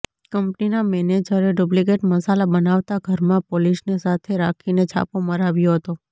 કંપનીના મેનેજરે ડુપ્લીકેટ મસાલા બનાવતાં ઘરમાં પોલીસને સાથે રાખીને છાપો મરાવ્યો હતો